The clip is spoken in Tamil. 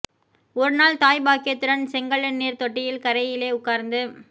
ஒரு நாள் தாய் பாக்கியத்துடன் செங்கழுநீர்த் தொட்டியின் கரையிலே உட்கார்ந்து